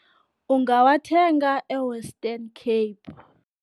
Ungawathenga e-Western Cape.